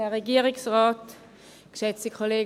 Kommissionssprecherin